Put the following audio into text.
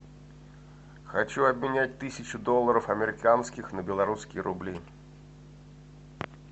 хочу обменять тысячу долларов американских на белорусские рубли